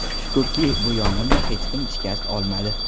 Shukurki, bu yong‘inda hech kim shikast olmadi.